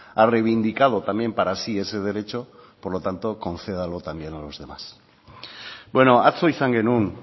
ha reivindicado también para sí ese derecho por lo tanto concédalo también a los demás bueno atzo izan genuen